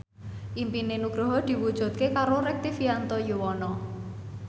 impine Nugroho diwujudke karo Rektivianto Yoewono